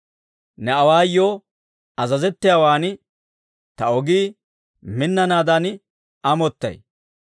Ne awaayoo azazettiyaawan ta ogii minnanaadan amottay.